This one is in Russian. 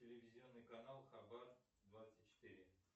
телевизионный канал хабар двадцать четыре